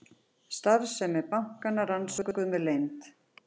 Starfsemi bankanna rannsökuð með leynd